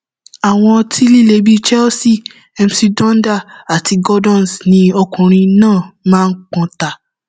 àwọn ọtí líle bíi chelsea mc donder àti gordons ni ọkùnrin náà máa ń pọn ta